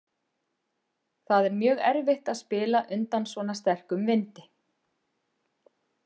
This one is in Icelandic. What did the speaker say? Það er mjög erfitt að spila undan svona sterkum vindi.